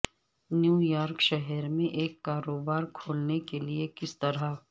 new York شہر میں ایک کاروبار کھولنے کے لئے کس طرح